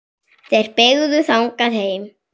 Þeir beygðu þangað heim.